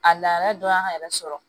A laadala dɔ y'an yɛrɛ sɔrɔ